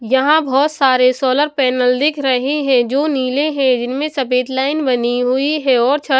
यहां बहुत सारे सोलर पैनल दिख रहे हैं जो नीले हैं जिनमें सफेद लाइन बनी हुई है और छत --